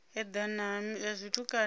edana ha zwithu kale u